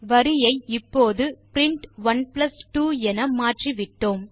வரியை இப்போது பிரின்ட் 12 என மாற்றிவிட்டோம்